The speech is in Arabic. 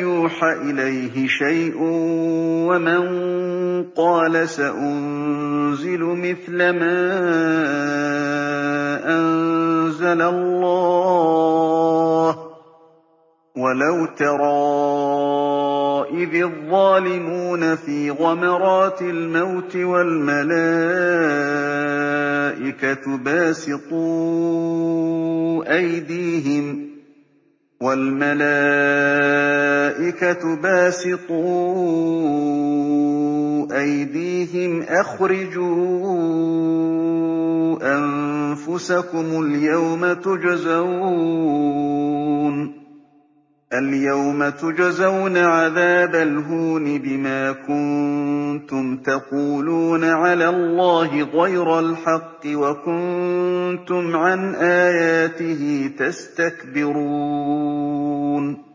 يُوحَ إِلَيْهِ شَيْءٌ وَمَن قَالَ سَأُنزِلُ مِثْلَ مَا أَنزَلَ اللَّهُ ۗ وَلَوْ تَرَىٰ إِذِ الظَّالِمُونَ فِي غَمَرَاتِ الْمَوْتِ وَالْمَلَائِكَةُ بَاسِطُو أَيْدِيهِمْ أَخْرِجُوا أَنفُسَكُمُ ۖ الْيَوْمَ تُجْزَوْنَ عَذَابَ الْهُونِ بِمَا كُنتُمْ تَقُولُونَ عَلَى اللَّهِ غَيْرَ الْحَقِّ وَكُنتُمْ عَنْ آيَاتِهِ تَسْتَكْبِرُونَ